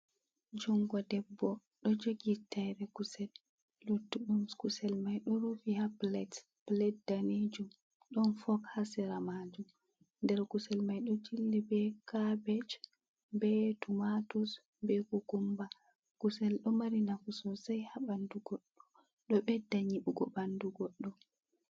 Jungo debbo ɗo jogi taire kusel luttu ɗum kusel mai ɗo rufi ha pilet, pilet daneejum ɗon fok ha sera majum, nder kusel mai ɗo jilli be kabej be tumatus be kukumba, kusel ɗo mari nafu sosai ha ɓandu goɗɗo ɗo ɓedda nyiɓugo ɓandu goɗɗo.